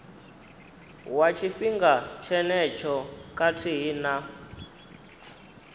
wa tshifhinga tshenetsho khathihi na